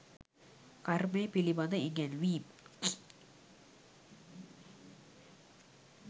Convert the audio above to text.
කර්මය පිළිබඳ ඉගැන්වීම්